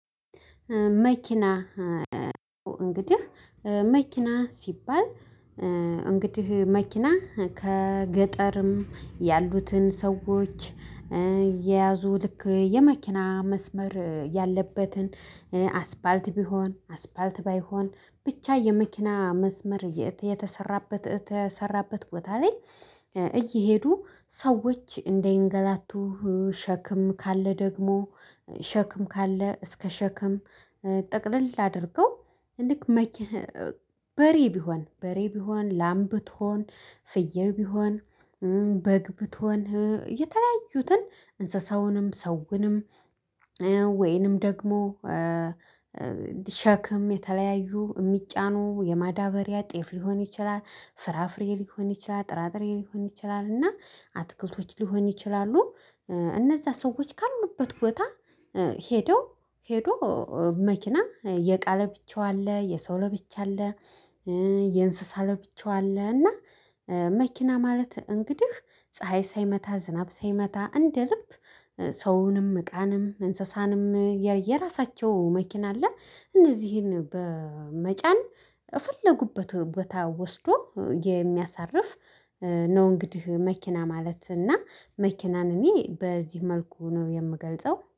መኪና እንግዲህ መኪና ሲባል እንግዲህ መኪና ከገጠርም ያሉትን ሰዎች እየያዙ ልክ የመኪና መስመር ያለበትን አስፋልት ቢሆን አስፋልት ባይሆን ብቻ የመኪና መስመር የተሰራበት። ቦታ ላይ እየሄዱ ሰዎች እንደይንገላቱ ሸክም ካለ ደግሞ ሸክም ካለ እስከ ሸክም ጠቅልል አድርገው ልክ መኪ በሬ ቢሆን በሬ ቢሆን ላም ብትሆን ፍየል ቢሆን በግ ብትሆን የተለያዩትን እንስሳውንም ሰውንም። ወይንም ደግሞ ሸክም የተለያዩ የሚጫኑ የማዳበሪያ ጤፍ ሊሆን ይችላል ፍራፍሬ ሊሆን ይችላል ጥራጥሬ ሊሆን ይችላል እና አትክልቶች ሊሆን ይችላሉ። እነዛ ሰዎች ካሉበት ቦታ ሄደው ሄዶ መኪና የቃ ለብቻው አለ የሰው ለብቻው አለ። የእንስሳ ለብቻው አለ እና መኪና ማለት እንግዲህ ፀሀይ ሳይመታ ዝናብ ሳይመታ እንደ ልብ ሰውንም እቃንም እንስሳንም የራሳቸው መኪና አለ። እነዚህን በመጫን የፈለጉበት ቦታ ወስዶ የሚያሳርፍ ነው። እንግዲህ መኪና ማለት እና መኪናን እኔ በዚህ መልኩ ነው የምገልጸው